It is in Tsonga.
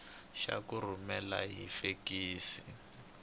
xa ku rhumela hi fekisi